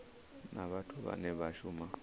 na vhathu vhane vha shuma